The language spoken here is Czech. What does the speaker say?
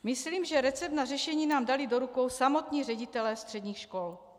Myslím, že recept na řešení nám dali do rukou samotní ředitelé středních škol.